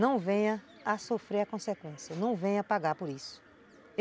não venha a sofrer a consequência, não venha pagar por isso.